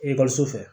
Ekɔliso fɛ